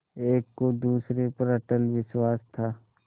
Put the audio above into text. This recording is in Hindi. एक को दूसरे पर अटल विश्वास था